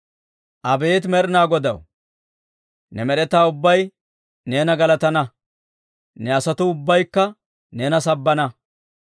Abeet Med'inaa Godaw, ne med'etaa ubbay neena galatana; ne asatuu ubbaykka neena sabbana.